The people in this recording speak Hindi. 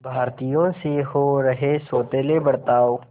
भारतीयों से हो रहे सौतेले बर्ताव